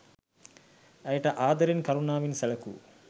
ඇයට ආදරයෙන් කරුණාවනේ සැලකූ